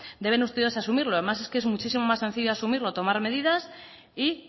deben ustedes asumirlo además es que es muchísimo más sencillo asumirlo tomar medidas y